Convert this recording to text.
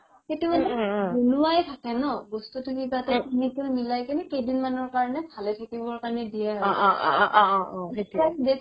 সেইটো মানে বনোৱাই থাকে নহয় বস্তুতো কিবা এটা chemical মিলাই কিনে কেইদিনমানৰ কাৰণে ভালে থাকিবৰ কাৰণে দিয়ে আৰু